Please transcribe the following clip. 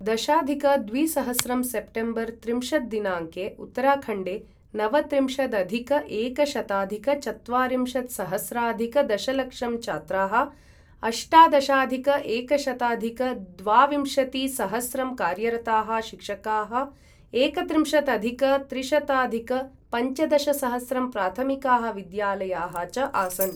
दशाधिक द्विसहस्रं सेप्टेम्बर् त्रिंशत् दिनाङ्के उत्तराखण्डे नवत्रिंशदधिक एकशताधिक चत्वारिंशत्सहस्राधिक दशलक्षं छात्राः, अष्टादशाधिक एकशताधिक द्वाविंशतिसहस्रं कार्यरताः शिक्षकाः, एकत्रिंशदधिक त्रिशताधिक पञ्चदशसहस्रं प्राथमिकाः विद्यालयाः च आसन्।